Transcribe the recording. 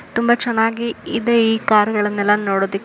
ತುಂಬಾ ಚೆನ್ನಾಗಿದೆ ಈ ಕಾರ್ ಗಳನ್ನೆಲ್ಲ ನೋಡ್ಲಿಕ್ಕೆ.